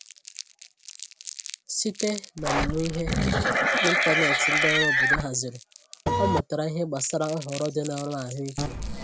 Site n’omumụ ihe n’ịntanetị ndị ọrụ obodo haziri, ọ mutara ìhè gbasàra nhọrọ dị na ọrụ ahụike.